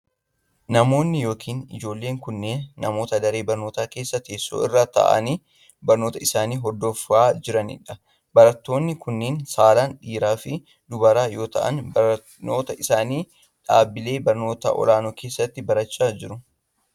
Namoonni yokin ijoolleen kunneen ,namoota daree barnootaa keessa teesoo irra ta'anii barnoota isaanii hordofaa jiranii dha. Barattoonni kunneen saalan dhiira fi dubara yoo ta'an, barnoota isaanii dhaabbilee barnoota olaanoo keessatti barachaa jiru.